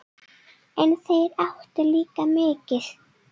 En þeir áttu líka mikið.